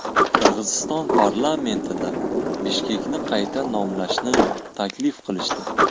Qirg‘iziston parlamentida Bishkekni qayta nomlashni taklif qilishdi.